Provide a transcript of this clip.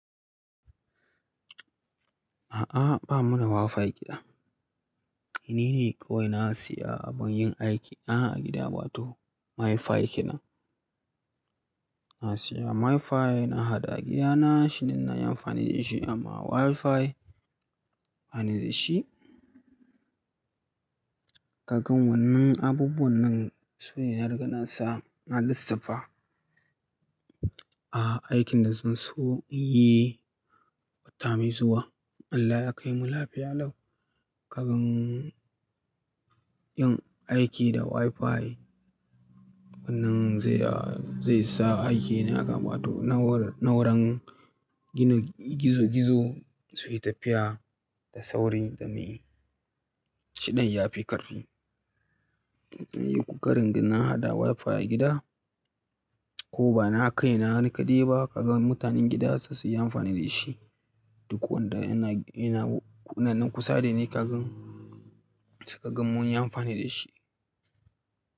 A'a, ba mu da Wi-Fi gida. Ni ne kawai na siya don yin aiki a gida, wato MiFi kinan. Na siya MiFi na haɗa a gidana, shi ne na yi amfani da shi amma Wi-Fi, bani da shi. Kagan wannan abubuwan nan su ne na riga na sa na lissafa. A'a, aikin da zan so in yi wata mai zuwa, Allah ya kai mu lafiya lau. Kagan yin aiki da Wi-Fi wannan zai, zai sa aiki na ya kama, wato na wurin, na wurin gina gizo-gizo su yi tafiya da sauri dame shidan ya fi ƙarfi. Ƙokarin ganin na haɗa Wi-Fi a gida ko ba na kai na ni kaɗai ba, kagan mutanen gida su su yi amfani da shi duk wanda yana, yana kunanan kusa da ni kagan suka gan mun yi amfani da shi.